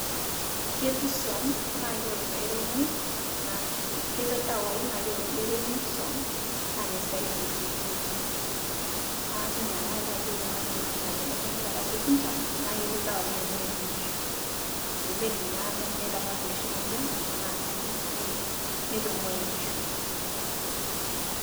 Ketii suom naa yuolo peerem nai, ketii ldawai laa yuolo peeremi suom, naa meistaili peitoi nchan, naaku inia naa paa yuolo kata na naibelekenya paa keti nchan naa ketii ldawai lemeremi nkishu, amu keidim naa neitarap nkishu moyian tanaa sii ne neitomwai nkishu.